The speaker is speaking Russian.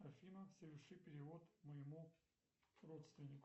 афина соверши перевод моему родственнику